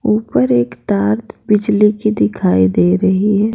ऊपर एक तार बिजली की दिखाई दे रही है।